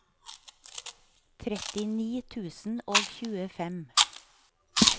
trettini tusen og tjuefem